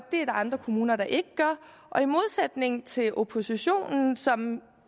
andre kommuner der ikke gør og i modsætning til oppositionen som